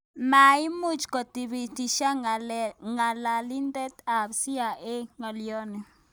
Maimuuch koitibitisyan ng'alalindet ab CIA ng'alyoni